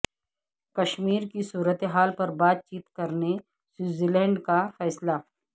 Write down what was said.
کشمیر کی صورتحال پر بات چیت کرنے سوئزرلینڈ کا فیصلہ